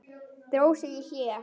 Dró sig í hlé.